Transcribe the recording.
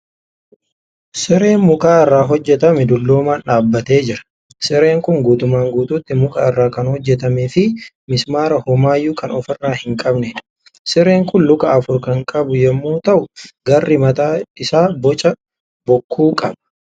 Sireen muka irraa hojjatame dulloomaan dhaabbatee jira. Sireen kun guutummaan guututti muka irraa kan hojjatamee fi mismaara homaayyuu kan ofirraa hin qabneedha . Sireen kun luka afur kan qabu yemmuu ta'u garri mataa isaa boca bokkuu qaba.